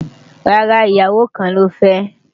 rárá, ìyàwó kàn ló fe